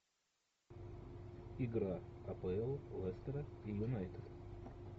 игра апл лестера и юнайтед